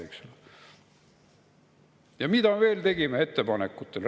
Ja mis ettepanekuid me veel tegime?